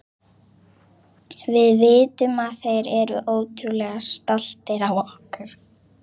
Við vitum að þeir eru ótrúlega stoltir af okkur.